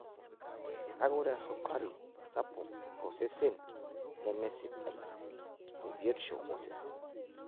Kake ore esukari sapuk tosesen nemesidai tebiotisho osesen.